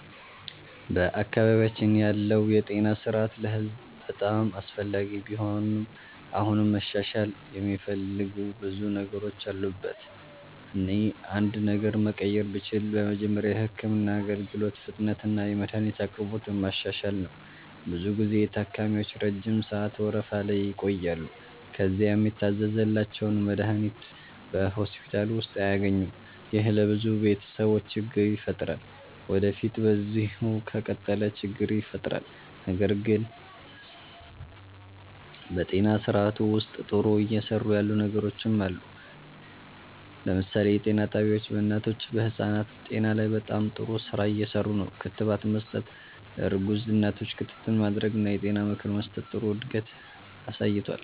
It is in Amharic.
በአካባቢያችን ያለው የጤና ስርዓት ለህዝብ በጣም አስፈላጊ ቢሆንም አሁንም መሻሻል የሚፈልጉ ብዙ ነገሮች አሉበት። እኔ አንድ ነገር መቀየር ብችል በመጀመሪያ የህክምና አገልግሎት ፍጥነትንና የመድሀኒት አቅርቦትን ማሻሻል ነው። ብዙ ጊዜ ታካሚዎች ረጅም ሰዓት ወረፋ ላይ ይቆያሉ፣ ከዚያም የታዘዘላቸውን መድሀኒት በሆስፒታል ውስጥ አያገኙም። ይህ ለብዙ ቤተሰቦች ችግር ይፈጥራል ወዴፊት በዚሁ ከቀጠለ ችግር ይፈጥራል። ነገር ግን በጤና ስርዓቱ ውስጥ ጥሩ እየሰሩ ያሉ ነገሮችም አሉ። ለምሳሌ የጤና ጣቢያዎች በእናቶችና በህፃናት ጤና ላይ በጣም ጥሩ ስራ እየሰሩ ነው። ክትባት መስጠት፣ ለእርጉዝ እናቶች ክትትል ማድረግ እና የጤና ምክር መስጠት ጥሩ እድገት አሳይቷል።